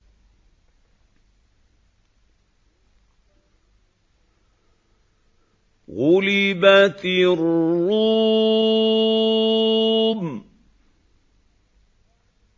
غُلِبَتِ الرُّومُ